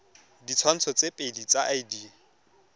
ditshwantsho tse pedi tsa id